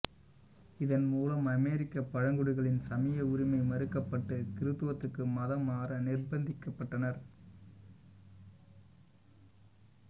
இதன் மூலம் அமெரிக்க பழங்குடிகளின் சமய உரிமை மறுக்கப்பட்டு கிருத்துவத்துக்கு மதம் மாற நிர்பந்திக்கப்பட்டனர்